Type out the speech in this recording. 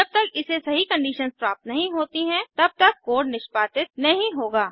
जब तक इसे सही कंडीशंस प्राप्त नहीं होती है तब तक कोड निष्पादित नहीं होगा